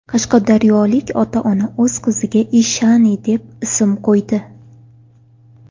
Qashqadaryolik ota-ona o‘z qiziga Ishani, deb ism qo‘ydi.